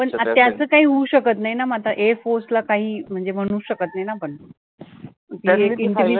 पण त्याचं काही होऊ शकतं नाही ना मग आता air force ला काही म्हणजे म्हणू शकतं नाही ना आपण